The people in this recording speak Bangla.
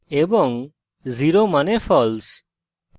এবং zero means false